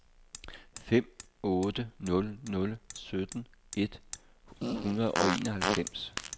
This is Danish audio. fem otte nul nul sytten et hundrede og enoghalvfems